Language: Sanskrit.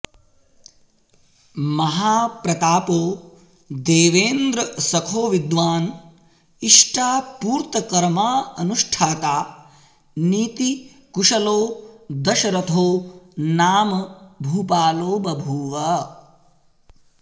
महाप्रतापो देवेन्द्रसखो विद्वान् इष्टापूर्तकर्माऽनुष्ठाता नीतिकुशलो दशरथो नाम भूपालो बभूव